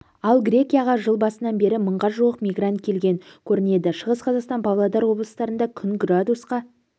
ал грекияға жыл басынан бері мыңға жуық мигрант келген көрінеді шығыс қазақстан павлодар облыстарында күн градусқа